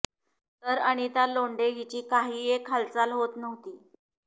तर आनिता लोंढे हिची काही एक हालचाल होत नव्हती